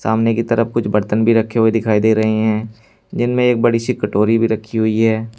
सामने की तरफ कुछ बर्तन भी रखे हुए दिखाई दे रहे हैं जिन में एक बड़ी सी कटोरी भी रखी हुई है।